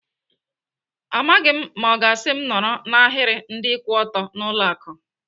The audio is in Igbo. Amaghị m ma ọ ga-asị m nọrọ n'ahiri ndị kwụ ọtọ n'ụlọ akụ.